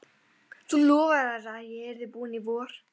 Þú lofaðir að ég yrði búinn í vor!